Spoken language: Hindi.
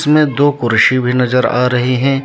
इनमें दो कुर्सी भी नजर आ रहे हैं।